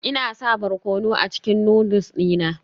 Ina sa barkono a cikin noodles dina